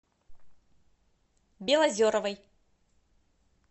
белозеровой